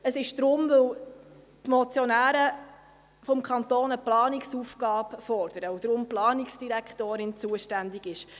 Es ist, weil die Motionäre vom Kanton eine Planungsaufgabe fordern und deshalb die Planungsdirektorin zuständig ist.